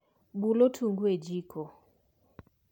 Bul otungu e jiko